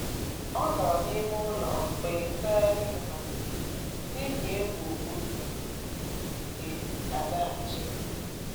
Ọ nọrọ n’ime ụlọ mgbe ngagharị iwe malitere, n’ihi egwu otú ndị uweojii ga-esi zaghachi